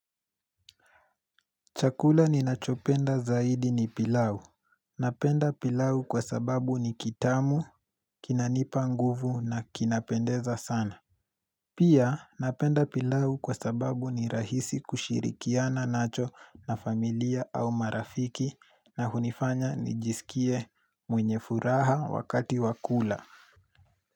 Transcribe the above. Chakula ninachopenda zaidi ni pilau. Napenda pilau kwa sababu ni kitamu, kinanipa nguvu na kinapendeza sana. Pia napenda pilau kwa sababu ni rahisi kushirikiana nacho na familia au marafiki na hunifanya nijisikie mwenye furaha wakati wa kula.